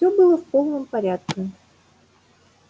все было в полном порядке